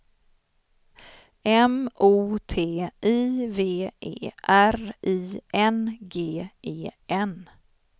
M O T I V E R I N G E N